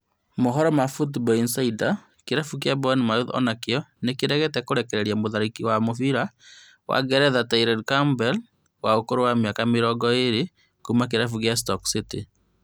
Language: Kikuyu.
Mohoro ma Football Insider kĩrabu kĩa Bournemouth onakĩo nĩkĩregete kũrekereria mũtharĩkĩri wa mũbĩra wa Ngeretha Tyrese Campbell wa ũkũrũ wa mĩaka mĩrongo ĩrĩ Kuma kĩrabu gĩa Stoke City